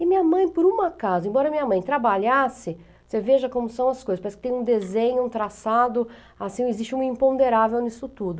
E minha mãe, por um acaso, embora minha mãe trabalhasse, você veja como são as coisas, parece que tem um desenho, um traçado, assim, existe um imponderável nisso tudo.